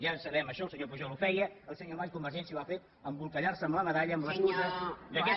ja ho sabem això el senyor pujol ho feia el senyor mas i convergència ho han fet embolcallar se amb la medalla i amb l’excusa